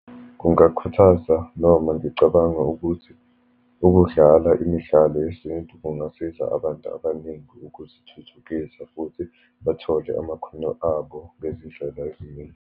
Kungakhuthaza, noma ngicabanga ukuthi ukudlala imidlalo yesintu kungasiza abantu abaningi ukuzithuthukisa, futhi bathole amakhono abo ngezindlela eziningi.